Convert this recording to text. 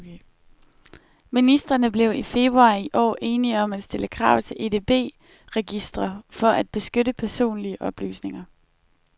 Ministrene blev i februar i år enige om at stille krav til EDB registre for at beskytte personlige oplysninger.